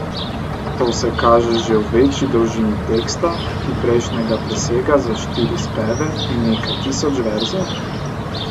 To se kaže že v večji dolžini teksta, ki prejšnjega presega za štiri speve in nekaj tisoč verzov.